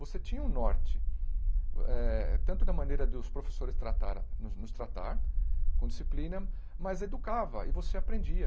Você tinha um norte eh, tanto da maneira dos professores tratar nos nos tratar, com disciplina, mas educava e você aprendia.